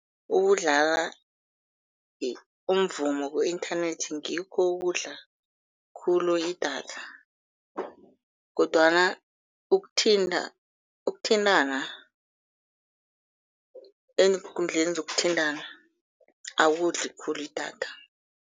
Ukudlala umvumo ku-inthanethi ngikho okudla khulu idatha kodwana ukuthintana eenkundleni zokuthintana akudli khulu idatha.